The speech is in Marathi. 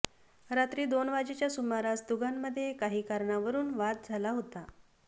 रात्री दोन वाजेच्या सुमारास दोघांमध्ये काही कारणावरून वाद झाला होता